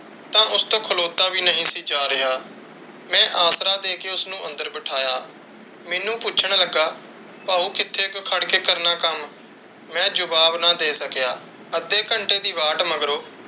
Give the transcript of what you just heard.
ਤਾਂ ਉਸ ਤੋਂ ਖਲੋਤਾ ਵੀ ਨਹੀਂ ਸੀ ਜਾ ਰਿਹਾ। ਮੈਂ ਆਸਰਾ ਦੇ ਕੇ ਉਸ ਨੂੰ ਅੰਦਰ ਬਿਠਾਇਆ। ਮੈਨੂੰ ਪੁੱਛਣ ਲੱਗਾ, ਭਾਉ ਕਿੱਥੇ ਕੁ ਖੜ ਕੇ ਕਰਨਾ ਕੱਮ? ਮੈਂ ਜਵਾਬ ਨਾ ਦੇ ਸਕਿਆ। ਅੱਧੇ ਘੰਟੇ ਦੀ ਵਾਟ ਮਗਰੋਂ,